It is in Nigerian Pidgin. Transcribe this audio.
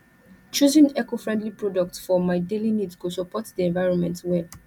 choosing ecofriendly products for my daily needs go support di environment well